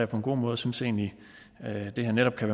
på en god måde og synes egentlig at det her netop kan